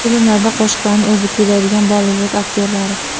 Filmlarda qo‘shiqlarni o‘zi kuylaydigan Bollivud aktyorlari.